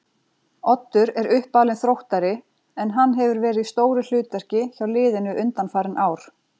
Oddur er uppalinn Þróttari en hann hefur verið í stóru hlutverki hjá liðinu undanfarin ár.